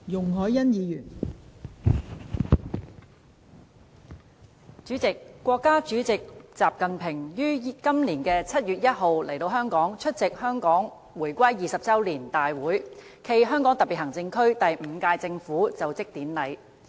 代理主席，國家主席習近平於今年7月1日前來香港，出席香港回歸20周年大會暨香港特別行政區第五屆政府就職典禮。